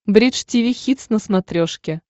бридж тиви хитс на смотрешке